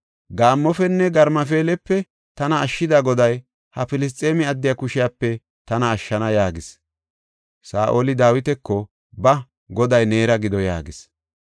Gaammofenne garmafeelepe tana ashshida Goday, ha Filisxeeme addiya kushepe tana ashshana” yaagis. Saa7oli Dawitako, “Ba, Goday neera gido” yaagis.